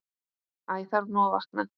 Æ þarf nú að vakna.